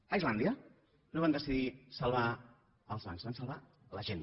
a islàndia no van decidir salvar els bancs van salvar la gent